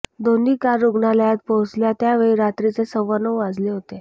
दोन्ही कार रुग्णालयात पोहोचल्या त्यावेळी रात्रीचे सव्वानऊ वाजले होते